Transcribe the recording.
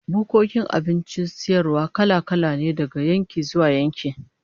Bukkokin abincin sayarwa kala-kala ne daga yankin zuwa yanki